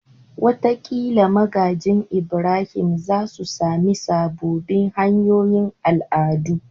Wataƙila magajin Ibrahim za su sami sababbin hanyoyin al'adu